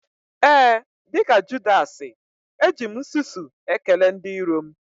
Ee, dịka Judasị, eji m nsusu ekele ndị iro m